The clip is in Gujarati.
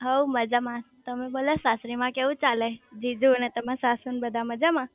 હવ મજામાં તમે બોલો સાસરી માં કેવું ચાલે જીજુ અને તમારા સાસુ ને બધા મજામાં?